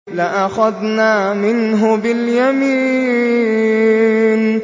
لَأَخَذْنَا مِنْهُ بِالْيَمِينِ